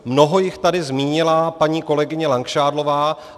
Mnoho jich tady zmínila paní kolegyně Langšádlová.